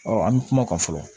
an bɛ kuma kan fɔlɔ